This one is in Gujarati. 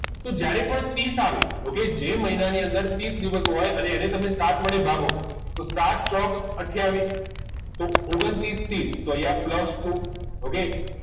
તો જયરે કોઈ ત્રીસ આવે ઓક જે મહિનાની અંદર ત્રીસ દિવસ હોય અને તેને સાત વડે ભાગો તો સાત ચોક આથીયાવીસ તો ઓગન્તૃસ ત્રીસ તો અહિયાં plus two okay